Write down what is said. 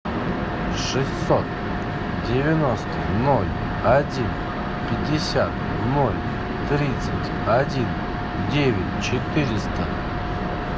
шестьсот девяносто ноль один пятьдесят ноль тридцать один девять четыреста